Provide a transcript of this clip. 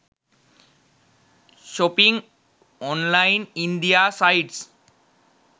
shopping online india sites